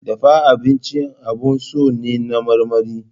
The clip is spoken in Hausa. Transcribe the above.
Dafa abinci abun so ne na mamane.